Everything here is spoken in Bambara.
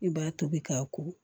I b'a tobi k'a ko